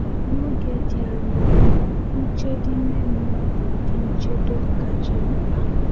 N’oge dị anya, nchedo ime mmụọ bụ ụdị nchedo kacha mkpa.